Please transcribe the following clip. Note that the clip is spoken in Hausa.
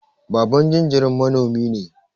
Baban jinjiran manomi ne.